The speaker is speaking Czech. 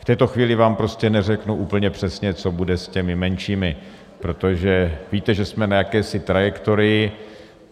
V této chvíli vám prostě neřeknu úplně přesně, co bude s těmi menšími, protože víte, že jsme na jakési trajektorii.